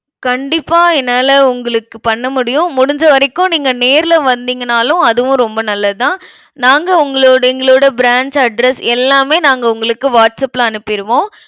கண்டிப்பா என்னால உங்களுக்கு பண்ண முடியும். முடிஞ்ச வரைக்கும் நீங்க நேர்ல வந்தீங்கன்னாலும், அதுவும் ரொம்ப நல்லதுதான் நாங்க உங்களோட எங்களோட branch address எல்லாமே நாங்க உங்களுக்கு வாட்ஸ்ஆப்ல அனுப்பிருவோம்.